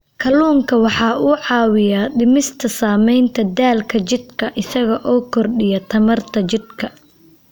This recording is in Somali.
Kalluunku waxa uu caawiyaa dhimista saamaynta daalka jidhka isaga oo kordhiya tamarta jidhka.